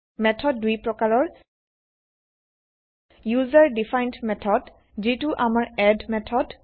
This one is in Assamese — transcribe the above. মেথড দুই প্ৰকাৰৰ160 ইউজাৰ দিফাইন্ড মেথড - যিতো আমাৰ এড মেথড